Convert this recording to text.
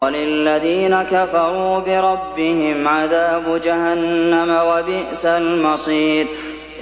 وَلِلَّذِينَ كَفَرُوا بِرَبِّهِمْ عَذَابُ جَهَنَّمَ ۖ وَبِئْسَ الْمَصِيرُ